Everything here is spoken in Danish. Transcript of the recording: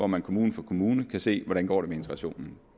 man kommune for kommune kan se hvordan det går med integrationen